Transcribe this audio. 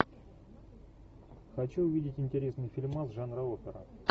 хочу увидеть интересный фильмас жанра опера